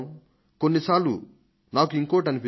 కొన్ని సార్లు నాకు ఇంకొకటి అనిపిస్తుంది